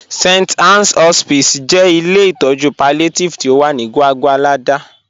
St. Ann's Hospice jẹ ilẹ̀ itọju palliative ti o wà ni Gwàgwàlada